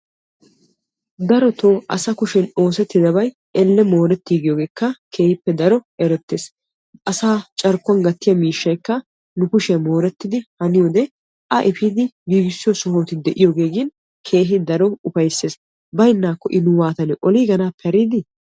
darotoo asaa kushee oosetidaabay elle moorettigiyoogekka keehippe daro erettees. asaa carkkuwa gatiya miishshaykka nu kushiyan mooretidi haniyoode a epi keehi daro upayssees. baynnakko I nu waatanne oliiganappe hari dii?